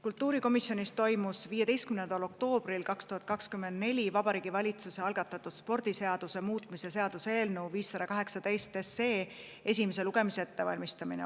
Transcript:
Kultuurikomisjonis toimus 15. oktoobril 2024 Vabariigi Valitsuse algatatud spordiseaduse muutmise seaduse eelnõu 518 esimese lugemise ettevalmistamine.